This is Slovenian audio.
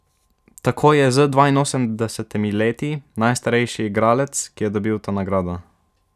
Tako je z dvainosemdesetimi leti najstarejši igralec, ki je dobil to nagrado.